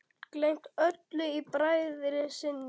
Gleymt öllu í bræði sinni.